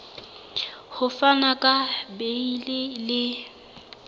ho fana ka beile le